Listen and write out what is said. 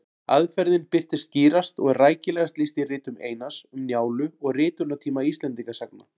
Aðferðin birtist skýrast og er rækilegast lýst í ritum Einars, Um Njálu og Ritunartími Íslendingasagna.